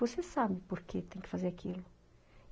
Você sabe por que tem que fazer aquilo.